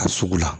Ka sugu la